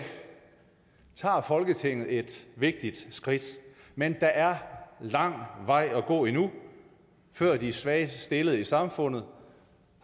tager folketinget et vigtigt skridt men der er lang vej at gå endnu før de svagest stillede i samfundet